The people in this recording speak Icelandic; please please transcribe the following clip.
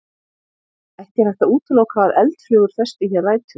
Ekki er hægt að útiloka að eldflugur festi hér rætur.